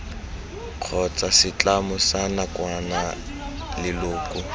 kgotsa setlamo sa nakwana leloko